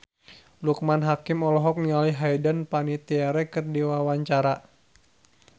Loekman Hakim olohok ningali Hayden Panettiere keur diwawancara